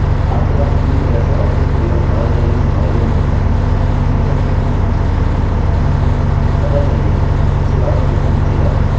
अतः चलिए इसे वापस यहाँ नीचे लाते हैं इसे रिफ्रेशrefresh करें और आपको my name is alex मिल गया